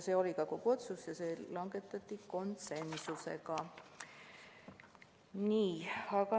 See oli ka kogu otsus ja see langetati konsensusega.